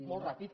molt ràpid